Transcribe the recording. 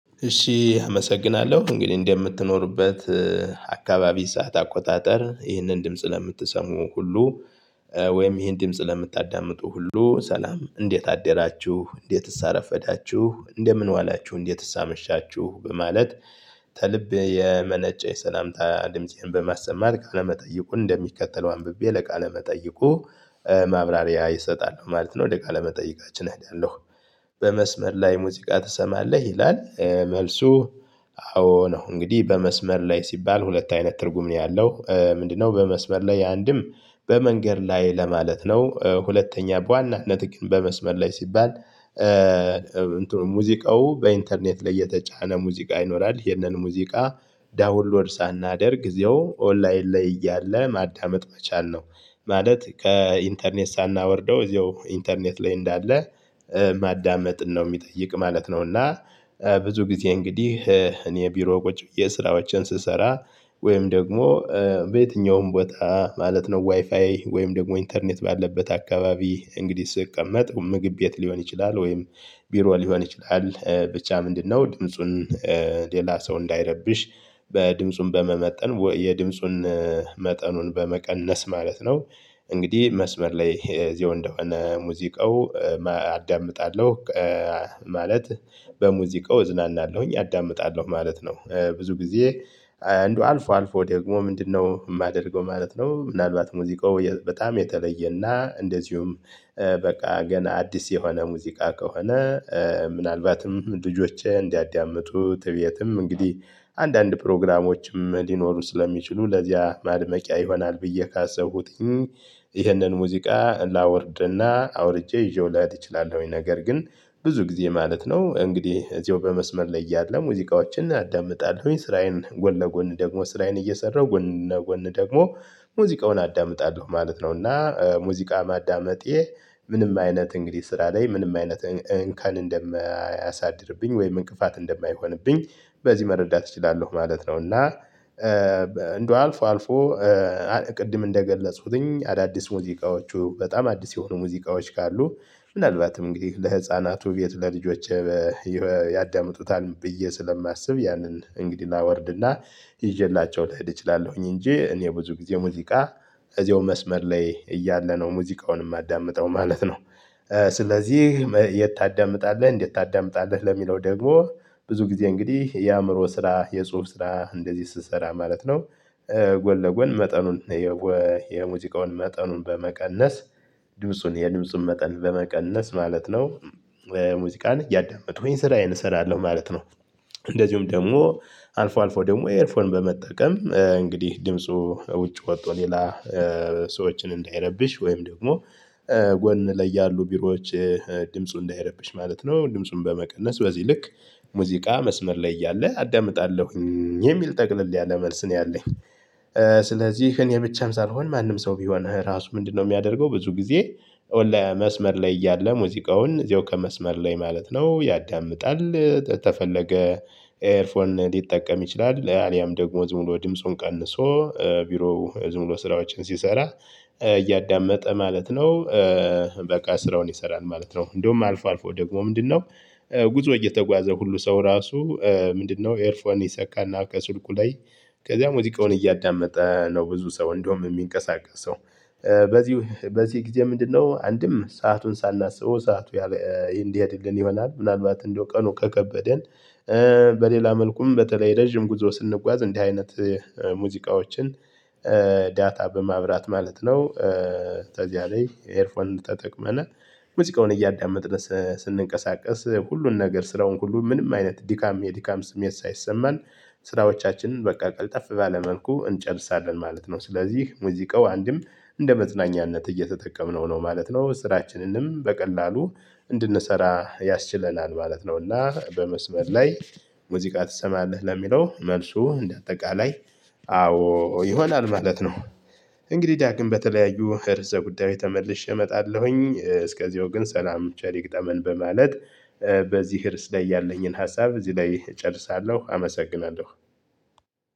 እሺ አመሰግናለሁ እንግዲህ እንደምትኖርበት አካባቢ ሰዓት አቆጣጠር ይህንን ድምጽ ለምትሰሙ ሁሉ ወይም ይህን ድምጽ ለምታዳምጡ ሁሉ ሰላም እንዴት አደራችሁ እንዴትስ አረፈዳችሁ እንደምን ዋላችሁ እንዴትስ አመሻችሁ በማለት ተልብ የመነጨ የሰላምታ ድምፄን በማሰማት ቃለመጠይቁን እንደሚከተለው አንብቤ ለቃለ መጠይቁ ማብራሪያ እሰጣለሁ ማለት ነው ወደ ቃለመጠየቃችን እሄዳለሁ። በመስመር ላይ ሙዚቃ ትሰማለህ ይላል መልሱ አዎ ነው። እንግዲህ በመስመር ላይ ሲባል ሁለት አይነት ትርጉም ነው ያለው ምንድነው? በመስመር ላይ አንድም በመንገድ ላይ ለማለት ነው። ሁለተኛ በዋናነት ግን በመስመር ላይ ሲባል ሙዚቃው በኢንተርኔት ላይ የተጫነ ሙዚቃ ይኖራል ይሄንን ሙዚቃ ዳውንሎድ ሳናደርግ እዚያው ኦንላይን ላይ እያለ ማዳመጥ መቻል ነው። ማለት ከኢንተርኔት ሳናወርደው እዚያው ኢንተርኔት ላይ እንዳለ ማዳመጥን ነው ሚጠይቅ ማለት ነው። እና ብዙ ጊዜ እንግዲህ እኔ ቢሮ ቁጭ ብዬ ስራዎቼን ስሰራ ወይም ደግሞ በየትኛውም ቦታ ማለት ነው ዋይፋይ ወይም ደግሞ ኢንተርኔት ባለበት አካባቢ እንግዲህ ስቀመጥ ምግብ ቤት ሊሆን ይችላል ወይም ቢሮ ሊሆን ይችላል ብቻ ምንድነው ድምፁን ሌላ ሰው እንዳይረብሽ በ ድምፁን በመመጠን የድምጹን መጠኑን በመቀነስ ማለት ነው። እንግዲህ መስመር ላይ እዚያው እንደሆነ ሙዚቃው አዳምጣለሁ። ማለት በሙዚቃው እዝናናለሁኝ አዳምጣለሁ ማለት ነው። ብዙ ጊዜ እንደው አልፎ አልፎ ደግሞ ምንድነው የማደርገው ማለት ነው። ምናልባት ሙዚቃው በጣም የተለየና እንደዚሁም በቃ ገና አዲስ የሆነ ሙዚቃ ከሆነ ምናልባትም ልጆቼ እንዲያዳምጡት እቤትም እንግዲህ አንዳንድ ፕሮግራሞችም ሊኖሩ ስለሚችሉ ለዚያ ማድመቂያ ይሆናል ብዬ ካሰብሁትኝ ይህንን ሙዚቃ ላወርድና አውርጄ ይዤው ልሄድ እችላለሁኝ። ነገር ግን ብዙ ጊዜ ማለት ነው እንግዲህ እዚያው በመስመር ላይ እያለ ሙዚቃዎችን አዳምጣለሁኝ ስራዬን ጎን ለጎን ደግሞ ስራዬን እየሰራሁ ጎን ለጎን ደግሞ ሙዚቃውን አዳምጣለሁ ማለት ነው። እና ሙዚቃ ማዳመጤ ምንም አይነት እንግዲህ ስራ ላይ ምንም አይነት እንከን እንደማያሳድርብኝ ወይም እንቅፋት እንደማይሆንብኝ በዚህ መረዳት እችላለሁ ማለት ነው። እና እንደው አልፎ አልፎ ቅድም እንደገለጽሁትኝ አዳዲስ ሙዚቃዎቹ በጣም አዲስ የሆኑ ሙዚቃዎች ካሉ ምናልባትም እንግዲህ ለህፃናቱ እቤት ለልጆቼ ያዳምጡታልም ብዬ ስለማስብ ያንን እንግዲህ ላወርድና ይዤላቸው ልሄድ እችላለሁኝ እንጂ እኔ ብዙ ጊዜ ሙዚቃ እዚያው መስመር ላይ እያለ ነው ሙዚቃውን የማዳምጠው ማለት ነው። ስለዚህ የት ታዳምጣለህ እንዴት ታዳምጣለህ? ለሚለው ደግሞ ብዙ ጊዜ እንግዲህ የአእምሮ ስራ የጽሁፍ ስራ እንደዚህ ስሰራ ማለት ነው። ጎን ለጎን መጠኑን የው የሙዚቃውን መጠኑን በመቀነስ ድምፁን የድምፁን መጠን በመቀነስ ማለት ነው። ሙዚቃን እያዳመጥሁኝ ስራዬን እሰራለሁ ማለት ነው። እንደዚሁም ደግሞ አልፎ አልፎ ደግሞ ኤርፎን በመጠቀም እንግዲህ ድምፁ ውጭ ወጥቶ ሌላ ሰዎችን እንዳይረብሽ ወይም ደግሞ ጎን ላይ ያሉ ቢሮዎች ድምፁ እንዳይረብሽ ማለት ነው ድምፁን በመቀነስ በዚህ ልክ ሙዚቃ መስመር ላይ እያለ አዳምጣለሁኝ የሚል ጠቅለል ያለ መልስ ነው ያለኝ። ስለዚህ እኔ ብቻም ሳልሆን ማንም ሰው ቢሆን ራሱ ምንድነው? የሚያደርገው ብዙ ጊዜ ለመስመር ላይ እያለ ሙዚቃውን እዚያው ከመስመር ላይ ማለት ነው ያዳምጣል። ተፈለገ ኤርፎን ሊጠቀም ይችላል አሊያም ደግሞ ዝም ብሎ ድምፁን ቀንሶ ቢሮው ዝም ብሎ ስራዎችን ሲሰራ እያዳመጠ ማለት ነው። በቃ ስራውን ይሰራል ማለት ነው። እንዲሁም አልፎ አልፎ ደግሞ ምንድነው? ጉዞ እየተጓዘ ሁሉ ሰው ራሱ ምንድነው? ኤርፎን ይሰካና ከስልኩ ላይ ከዚያም ወዚቃውን እያዳመጠ ነው። ብዙ ሰው እንደውም የሚንቀሳቀሰው በዚህ በዚህ ጊዜ ምንድነው? አንድም ሰአቱን ሳናስበው ሰዓቱ እንዲሄድልን ይሆናል። ምናልባት እንደው ቀኑ ከከበደን በሌላ መልኩም በተለይ ረጅም ጉዞ ስንጓዝ እንዲህ አይነት ሙዚቃዎችን ዳታ በማብራት ማለት ነው። ተዚያ ላይ ኤርፎን ተጠቅመን ሙዚቃውን እያዳመጥን ስንንቀሳቀስ ሁሉን ነገር ስራውን ሁሉ ምንም አይነት ድካም የድካም ስሜት ሳይሰማን ስራዎቻችንን በቃ ቀጠፍ ባለ መልኩ እንጨርሳለን ማለት ነው። ስለዚህ ሙዚቃው አንድም እንደመዝናኛነት እየተጠቀምነው ነው ማለት ነው። ስራችንንም በቀላሉ እንድንሰራ ያስችለናል ማለት ነውና። በመስመር ላይ ሙዚቃ ትሰማለህ? ለሚለው መልሱ እንደ አጠቃላይ አዎ ይሆናል ማለት ነው። እንግዲህ ዳግም በተለያዩ ርዕሰ ጉዳዮች ተመልሼ እመጣለሁኝ እስከዚው ግን ሰላም ቸሪ ይግጠመን። በማለት በዚህ ርዕስ ላይ ያለኝን ሀሳብ እዚህ ላይ እጨርሳለሁ አመሰግናለሁ።